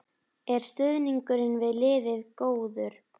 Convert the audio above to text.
Er stuðningurinn við liðið góður?